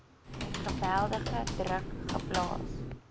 geweldige druk geplaas